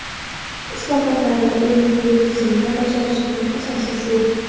Islohotlarni eng quyi tizimda bajarishning asosi shu.